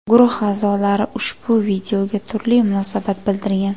Guruh a’zolari ushbu videoga turli munosabat bildirgan.